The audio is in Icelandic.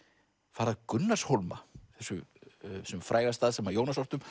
fara að Gunnarshólma þessum fræga stað sem Jónas orti um